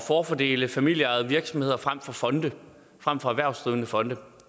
forfordele familieejede virksomheder frem for fonde frem for erhvervsdrivende fonde